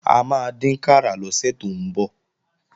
A máa dínkàrà lọ́sẹ̀ tó ń bọ̀